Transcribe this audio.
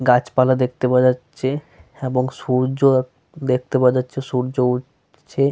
গাছপালা দেখতে পাওয়া যাচ্ছে এবং সূর্য দেখতে পাওয়া যাচ্ছে সূর্য উঠছে।